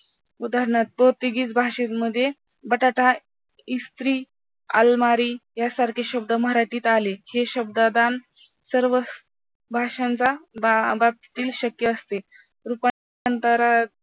उदाहरणार्थ पोर्तुगीज भाषेमध्ये बटाटा, इस्त्री यासारखे शब्द मराठीत आले, हे शब्ददान सर्व भाषांचा शक्य असते, रूपांतर अं